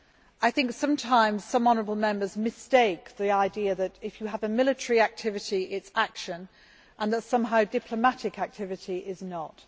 I think sometimes some honourable Members have the mistaken idea that if you have a military activity, that is action, and that somehow diplomatic activity is not.